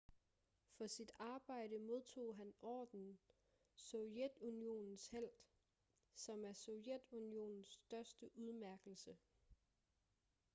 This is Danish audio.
for sit arbejde modtog han ordenen sovjetunionens helt som er sovjetunionens største udmærkelse